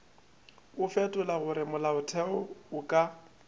o fetolago molaotheo o ka